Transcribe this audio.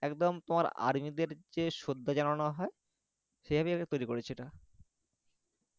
একদম তোমার army দের যে শ্রদ্ধা জানানো হয় সেইভাবে তৈরি করেছে এটা